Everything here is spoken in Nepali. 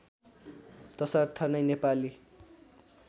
तसर्थ नै नेपाली